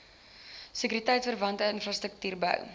sekuriteitverwante infrastruktuur bou